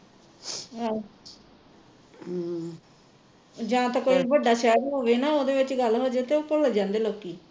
ਅਹ ਜਾਂ ਤਾਂ ਕੋਈ ਵੱਡਾ ਸ਼ਹਿਰ ਹੋਵੇ ਨਾ ਓਹਦੇ ਵਿਚ ਗੱਲ ਹੋਜੇ ਤਾਂ ਭੁੱਲ ਜਾਂਦੇ ਲੋਕੀ